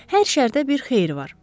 Hər şərdə bir xeyir var.